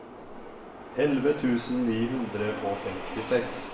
elleve tusen ni hundre og femtiseks